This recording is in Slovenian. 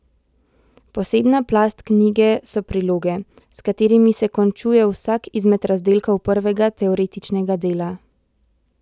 Posebna plast knjige so priloge, s katerimi se končuje vsak izmed razdelkov prvega, teoretičnega dela.